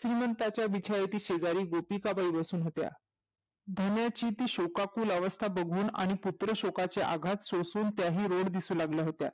श्रीमंताच्या बिछईतच्या शेजारी गोपिकाबाई बसून होत्या धनाची ती शोकाकूल अवस्था बघून आणि पुत्र शोकाचे आहात सोसून त्याही रोड दिसूलागल्या होत्या